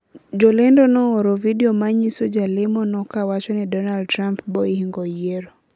Jolendo nooro video manyiso jalemo no awacho ni Donald Trump brohingo yiero